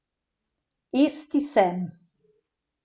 Esti sem.